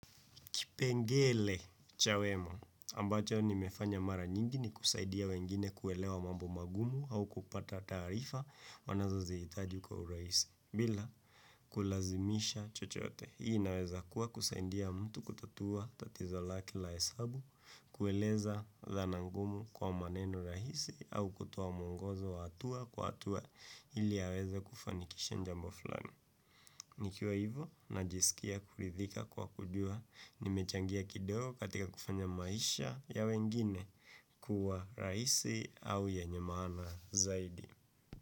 Kipengele cha wema ambacho nimefanya mara nyingi ni kusaidia wengine kuelewa mambo mangumu au kupata tarifa wanazo ziitaju kwa urahisi. Bila kulazimisha chochote. Hii naweza kuwa kusaidia mtu kutatua tatizo lake la hesabu, kueleza dhana ngumu kwa maneno rahisi au kutoa muongozo wa atua kwa atua ili aweza kufanikisha jambo fulani. Nikiwa hivyo, najisikia kuridhika kwa kujua, nimechangia kidogo katika kufanya maisha ya wengine kuwa raisi au yenye maana zaidi.